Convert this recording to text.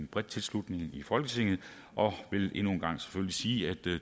brede tilslutning i folketinget og vil endnu en gang selvfølgelig sige at